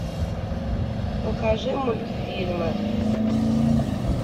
покажи мультфильмы